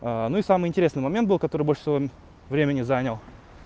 ну и самый интересный момент был который больше всего времени занял